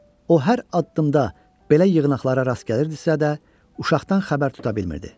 O hər addımda belə yığınaqlara rast gəlirdisə də, uşaqdan xəbər tuta bilmirdi.